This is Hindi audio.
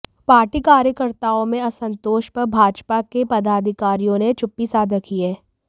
पार्टी कार्यकर्ताओं में असंतोष पर भाजपा के पदाधिकारियों ने चुप्पी साध रखी है